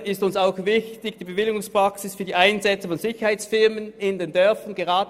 Ferner ist uns auch die Bewilligungspraxis für die Einsetzung von Sicherheitsfirmen in den Dörfern wichtig.